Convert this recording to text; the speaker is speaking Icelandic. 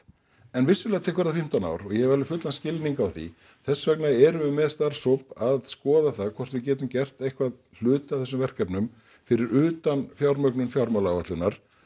en vissulega tekur það fimmtán ár og ég hef alveg fullan skilning á því þess vegna erum við með starfshóp að skoða það hvort við getum gert eitthvað hluta af þessum verkefnum fyrir utan fjármögnun fjármálaáætlunar